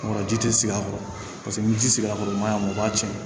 Ɔ ji tɛ sigi a kɔrɔ paseke ni ji sigira a kɔrɔ o man ɲi a ma o b'a tiɲɛ